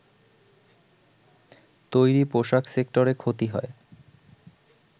তৈরি পোশাক সেক্টরে ক্ষতি হয়